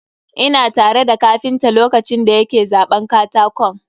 Ina tare da kapinta lokacin da ya ke zaɓan katakon.